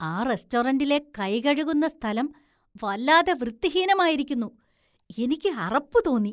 ആ റസ്‌റ്റോറന്റിലെ കൈകഴുകുന്ന സ്ഥലം വല്ലാതെ വൃത്തിഹീനമായിരിക്കുന്നു, എനിക്ക് അറപ്പ് തോന്നി.